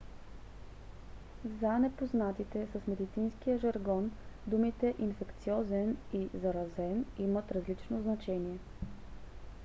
за незапознатите с медицинския жаргон думите инфекциозен и заразен имат различно значение